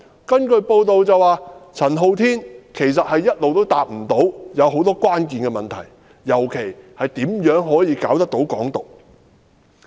根據報道，陳浩天無法回答很多關鍵問題，尤其是如何可以成功搞"港獨"。